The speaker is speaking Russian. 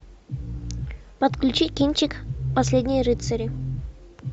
подключи кинчик последние рыцари